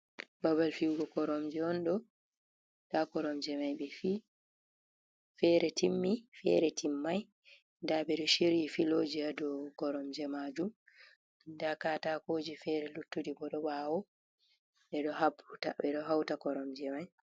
Babal fiwugo koromje on ɗo, nda koromje mai ɓe fi'i fere timmi fere timmai nda ɓe ɗo chiri filoji ha dou koromje majum, nda katakoji fere luttuɗi bo ɗo ɓawo ɓeɗo hauta koromje mai.